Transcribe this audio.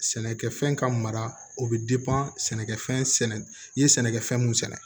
Sɛnɛkɛfɛn ka mara o bɛ sɛnɛkɛfɛn sɛnɛ i ye sɛnɛkɛ fɛn mun sɛnɛ